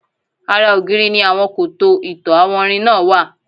Ara ògiri ni àwọn koto ìtọ̀ àwọnrin náà wà.